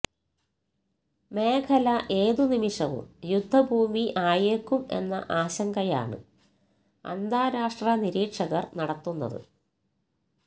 മേഖല ഏത് നിമിഷവും യുദ്ധഭൂമി ആയേക്കും എന്ന ആശങ്കയാണ് അന്താരാഷ്ട്ര നിരീക്ഷകര് നടത്തുന്നത്